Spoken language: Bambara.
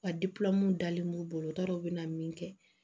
Wa dalen b'u bolo u t'a dɔn u bɛ na min kɛ